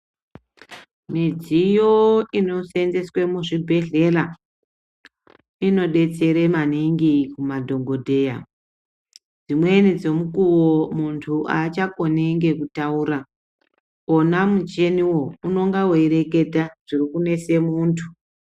Midziyo inosenzeswe muzvibhedhlela inodetsere maningi madhokodheya dzimweni dzemukuwo muntu aachakoni ngekutoura wonà muchiniwo unenge weireketa zviri kunese muntu.